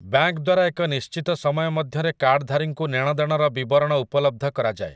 Bank ଦ୍ୱାରା ଏକ ନିଶ୍ଚିତ ସମୟ ମଧ୍ୟରେ କାର୍ଡଧାରୀଙ୍କୁ ନେଣ ଦେଣର ବିବରଣ ଉପଲବ୍ଧ କରାଯାଏ ।